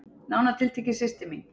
Nánar tiltekið systir mín.